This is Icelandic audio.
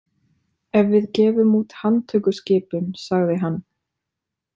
Ef við gefum út handtökuskipun, sagði hann.